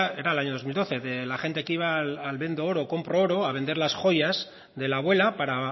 era el año dos mil doce de la gente que iba al vendo oro compro oro a vender las joyas de la abuela para